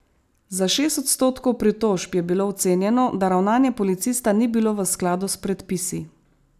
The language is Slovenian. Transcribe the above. Za šest odstotkov pritožb je bilo ocenjeno, da ravnanje policista ni bilo v skladu s predpisi.